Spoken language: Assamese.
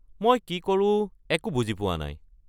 মই কি কৰোঁ একো বুজি পোৱা নাই।